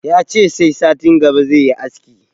Yace sai satin gaba zai yi aski